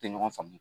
Tɛ ɲɔgɔn faamu